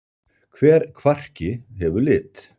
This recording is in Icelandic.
Hver kvarki hefur lit.